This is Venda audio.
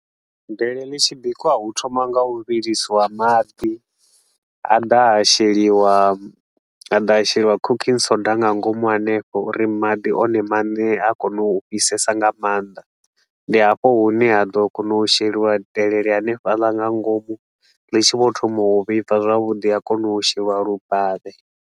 Delele ḽi tshi bikiwa hu thoma nga u vhilisiwa maḓi, ha ḓa ha sheliwa ha ḓa ha sheliwa cooking soda nga ngomu hanefho uri maḓi one mane a kona u fhisesa nga maanḓa. Ndi hafho hune ha ḓo kona u sheliwa delele hanefhaḽa nga ngomu, ḽi tshi vho thoma u vhibva zwavhuḓi ha kona u sheliwa lubavhe.